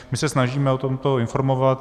My se snažíme o tomto informovat.